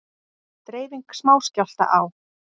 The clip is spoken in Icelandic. Dreifing smáskjálfta á